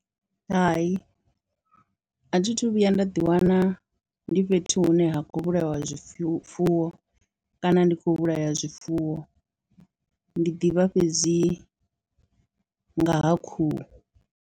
Hai, a thi thu vhuya nda ḓiwana ndi fhethu hune ha khou vhulaiwa zwi fu zwifuwo kana ndi khou vhulaya zwifuwo, ndi ḓivha fhedzi nga ha khuhu.